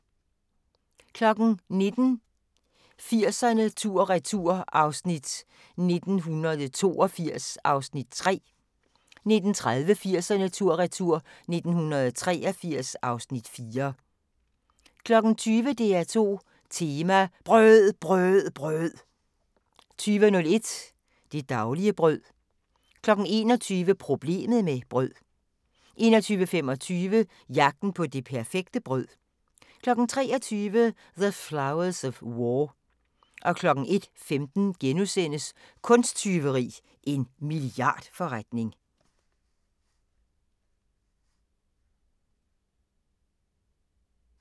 19:00: 80'erne tur/retur: 1982 (Afs. 3) 19:30: 80'erne tur/retur: 1983 (Afs. 4) 20:00: DR2 Tema: BRØD BRØD BRØD 20:01: Det daglige brød 21:00: Problemet med brød 21:25: Jagten på det perfekte brød 23:00: The Flowers of War 01:15: Kunsttyveri – en milliardforretning *